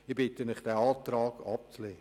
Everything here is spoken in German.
Ich bitte Sie, diesen Antrag abzulehnen.